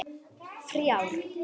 þrjár